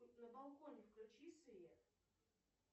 на балконе включи свет